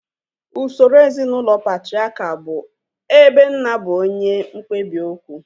Usoro ezinaụlọ patriakial bụ ebe nna bụ onye mkpebi okwu